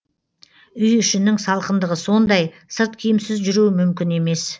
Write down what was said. үй ішінің салқындығы сондай сырткиімсіз жүру мүмкін емес